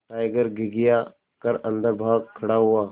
tiger घिघिया कर अन्दर भाग खड़ा हुआ